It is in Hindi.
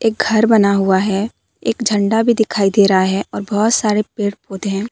घर बना हुआ है एक झंडा भी दिखाई दे रहा है और बहोत सारे पेड़ पौधे हैं।